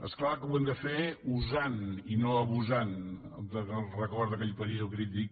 és clar que ho hem de fer usant i no abusant del record d’aquell període crític